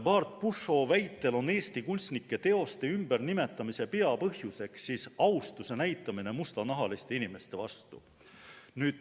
Bart Pushaw' väitel on Eesti kunstnike teoste ümbernimetamise peapõhjus austuse näitamine mustanahaliste inimeste vastu.